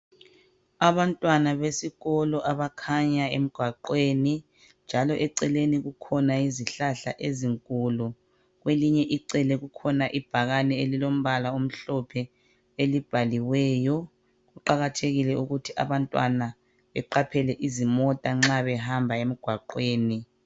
Abantwana besikolo abakhanya emgwaqweni, njalo eceleni kukhona izihlahla ezinkulu. Kwelinye icele kukhona ibhakane elilombala omhlophe elibhaliweyo. Kuqakathekile ukuthi abantwana beqaphele izimota nxa behamba emgwaqweni.